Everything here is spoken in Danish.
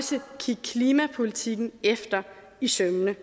kigge klimapolitikken efter i sømmene